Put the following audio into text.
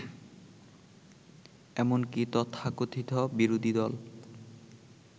এমনকি তথাকথিত বিরোধীদল